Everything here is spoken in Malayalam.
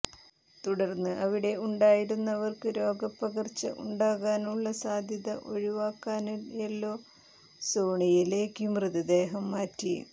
തുടര്ന്ന് അവിടെ ഉണ്ടായരുന്നവര്ക്ക് രോഗപ്പകര്ച്ച ഉണ്ടാകാനുള്ള സാധ്യത ഒഴിവാക്കാന് യെല്ലോ സോണിലേക്കു മൃതദേഹം മാറ്റി